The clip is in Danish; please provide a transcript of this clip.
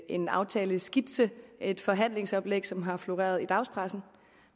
en aftaleskitse et forhandlingsoplæg som har floreret i dagspressen